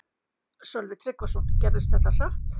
Sölvi Tryggvason: Gerðist þetta hratt?